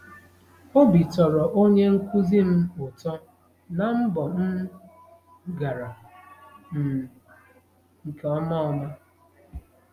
Obi tọrọ onye nkụzi m ụtọ na mbọ m gara um nke ọma ọma. ”